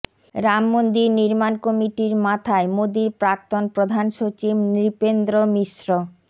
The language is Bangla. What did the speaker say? রামমন্দির নির্মাণ কমিটির মাথায় মোদীর প্রাক্তন প্রধান সচিব নৃপেন্দ্র মিশ্র